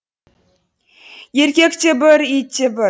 еркек те бір ит те бір